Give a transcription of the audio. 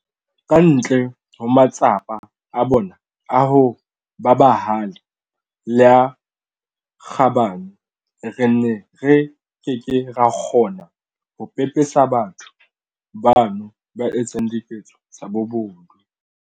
Ka ntle ho matsapa a bona a ho ba bahale le a kgabane, re ne re ke ke ra kgona ho pepesa batho bano ba etsang diketso tsa bobodu.